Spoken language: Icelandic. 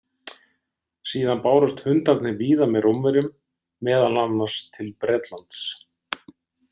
Síðan bárust hundarnir víða með Rómverjum, meðal annars til Bretlands.